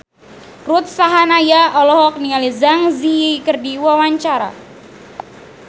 Ruth Sahanaya olohok ningali Zang Zi Yi keur diwawancara